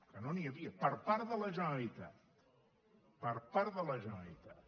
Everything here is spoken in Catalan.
que no n’hi havia per part de la generalitat per part de la generalitat